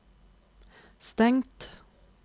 stengt